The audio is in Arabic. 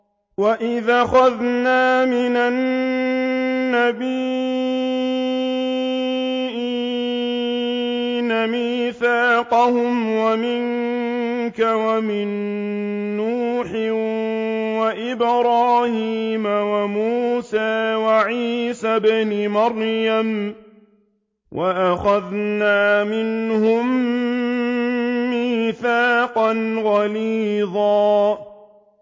وَإِذْ أَخَذْنَا مِنَ النَّبِيِّينَ مِيثَاقَهُمْ وَمِنكَ وَمِن نُّوحٍ وَإِبْرَاهِيمَ وَمُوسَىٰ وَعِيسَى ابْنِ مَرْيَمَ ۖ وَأَخَذْنَا مِنْهُم مِّيثَاقًا غَلِيظًا